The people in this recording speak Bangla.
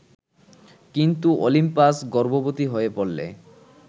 কিন্তু অলিম্পাস গর্ভবতি হয়ে পড়লে